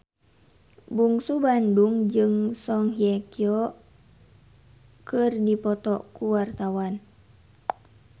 Bungsu Bandung jeung Song Hye Kyo keur dipoto ku wartawan